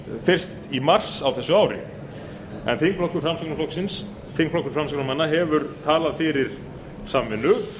fyrst í mars á þessu ári en þingflokkur framsóknarmanna hefur talað fyrir samvinnu